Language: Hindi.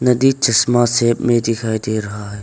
नदी चश्मा शेप में दिखाई दे रहा है।